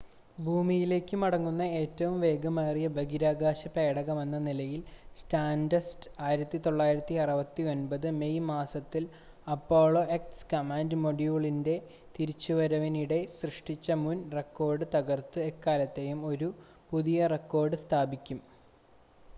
ഭൂമിയിലേക്ക് മടങ്ങുന്ന ഏറ്റവും വേഗമേറിയ ബഹിരാകാശ പേടകമെന്ന നിലയിൽ സ്റ്റാർഡസ്റ്റ് 1969 മെയ് മാസത്തിൽ അപ്പോളോ എക്സ് കമാൻഡ് മൊഡ്യൂളിൻ്റെ തിരിച്ചുവരവിനിടെ സൃഷ്ടിച്ച മുൻ റെക്കോർഡ് തകർത്ത് എക്കാലത്തെയും ഒരു പുതിയ റെക്കോർഡ് സ്ഥാപിക്കും